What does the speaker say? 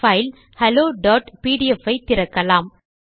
file hello PDF ஐ திறக்கலாம்